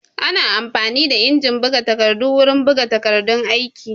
Ana amfani da injin buga takardu wurin buga takardun aiki